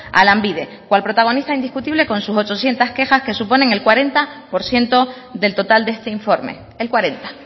a lanbide cual protagonista indiscutible con sus ochocientos quejas que suponen el cuarenta por ciento del total de este informe el cuarenta